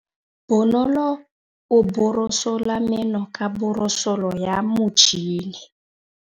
Bonolô o borosola meno ka borosolo ya motšhine.